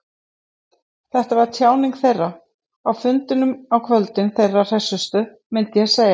Þetta var tjáning þeirra, á fundunum á kvöldin, þeirra hressustu, myndi ég segja.